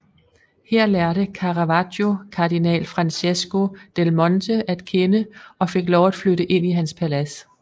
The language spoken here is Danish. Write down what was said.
Her lærte Caravaggio kardinal Francesco del Monte at kende og fik lov at flytte ind i hans palads